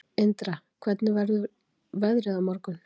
Indra, hvernig verður veðrið á morgun?